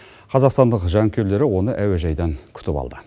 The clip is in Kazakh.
қазақстандық жанкүйерлері оны әуежайдан күтіп алды